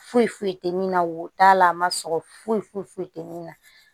Foyi foyi tɛ min na wo t'a la a ma sɔgɔ foyi foyi foyi tɛ min na